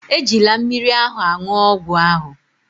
Ejila mmiri ahụ aṅụ ọgwụ ahụ